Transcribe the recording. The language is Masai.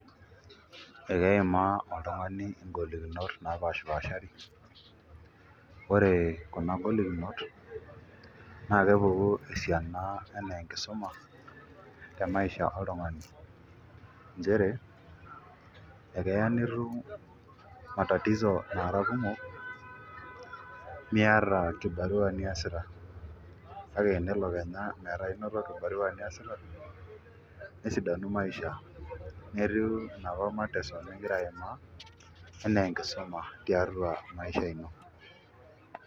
Akeimaa oltungani ngolikinot napashipashari nakepuki esiana ore ngolikinot na enaa enkisuma temaisha oltungani nchere ekeya nitum matatizo nara kumok nimiata kibarua niasita kake tenelo kenya noto biashara niasita nesidanu maisha netiu enaapa matatizo ningira aaima anaa enkisuma tiatua maisha ino